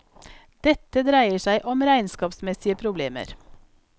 Dette dreier seg om regnskapsmessige problemer.